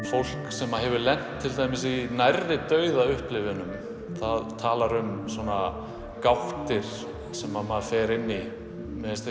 fólk sem hefur til dæmis lenti í nærri dauða upplifunum það talar um gáttir sem maður fer inn í mér finnst